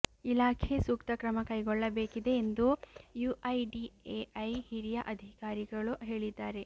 ಇಲಾಖೆ ಸೂಕ್ತ ಕ್ರಮ ಕೈಗೊಳ್ಳಬೇಕಿದೆ ಎಂದು ಯುಐಡಿಎಐ ಹಿರಿಯ ಅಧಿಕಾರಿಗಳು ಹೇಳಿದ್ದಾರೆ